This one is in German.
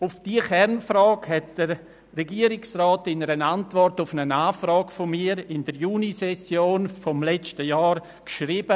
Auf diese Kernfrage hat der Regierungsrat in einer Antwort auf eine Anfrage von mir anlässlich der Junisession des letzten Jahres geschrieben: